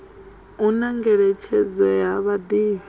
hu na ngeletshedzo ya vhadivhi